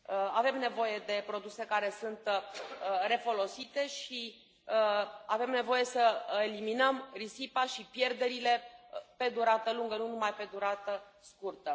Avem nevoie de produse care sunt refolosite și avem nevoie să eliminăm risipa și pierderile pe durată lungă, nu numai pe durată scurtă.